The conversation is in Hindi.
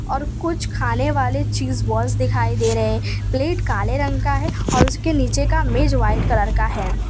और कुछ खाने वाले चीज बॉल्स दिखाई दे रहे प्लेट काले रंग का है और उसके नीचे का मेज व्हाइट कलर का है।